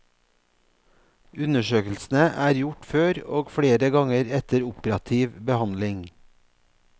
Undersøkelsene er gjort før og flere ganger etter operativ behandling.